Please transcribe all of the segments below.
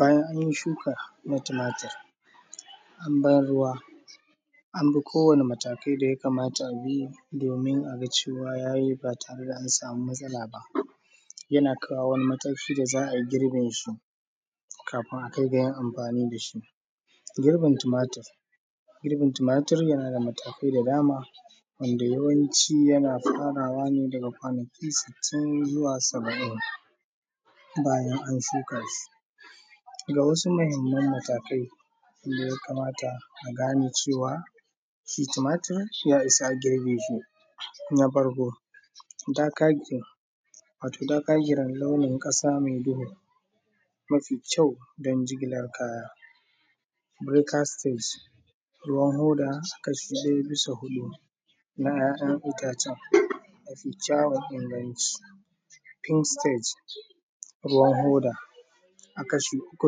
Bayan anyi shuka na tumatir, an bar ruwa, an bi kowani matakai da ya kamata a bi domin aga cewa yayi ba tare da an samu matsala ba, yana kawo wani mataki da za ayi girbin shi, kafin a kai ga yin amfani dashi. Girbin tumatir yana da matakai da dama, wanda yawanci yana farawa ne daga kwanaki sittin zuwa saba’in bayan an shuka shi, ga wasu muhimman matakai da ya kamata a gane cewa shi tumatir ya isa a girbe shi, na farko, darker green, wato darker green launin ƙasa mai duhu, mafi kyau don jigilar kaya. Breaker’s stage ruwan hoda kasha ɗaya bisa huɗu na ‘ya’yan itacen mafi kyaun inganci. Pink stage, ruwan hoda a kasha uku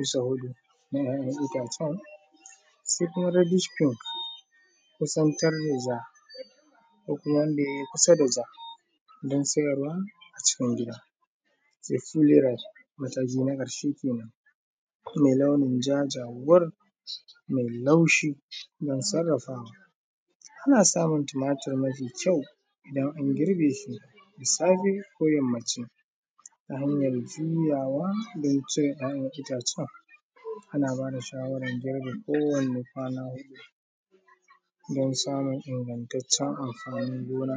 bisa huɗu na ‘ya’yan itacen, sai kuma reddish pink kusan kar yayi ja ko kuma wanda yayi kusa da ja don siyarwa acikin gida. Sai fully red, mataki na ƙarshe kenan, mai launin ja jawur, mai laushi don sarrafawa. Ana samun tumatir mafi kyau idan an girbe shi da safe ko yammaci, ta hanyar juyawa don cire ‘ya’yan itatuwar, ana ba da shawarar girbin kowani kwana huɗu, don samun ingantaccen amfanin gona.